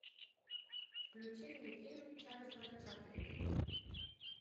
включи мне фильм чарльза чаплина